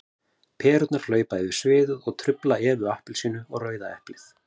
Perurnar hlaupa yfir sviðið og trufla Evu appelsínu og Rauða eplið.